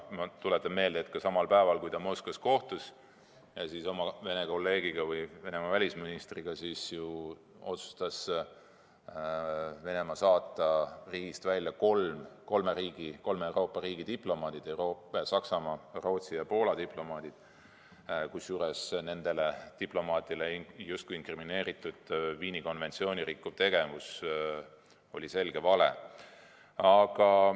Ma tuletan meelde, et samal päeval, kui ta Moskvas kohtus oma kolleegi, Venemaa välisministriga, otsustas ju Venemaa saata riigist välja kolme Euroopa riigi diplomaadid – Saksamaa, Rootsi ja Poola diplomaadid –, kusjuures nendele diplomaatidele Viini konventsiooni rikkuva tegevuse inkrimineerimine oli selge vale.